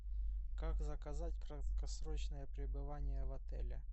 как заказать краткосрочное пребывание в отеле